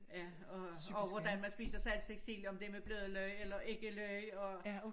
Ja og og hvordan man spiser saltstegt sild om det med bløde løg eller ikke løg og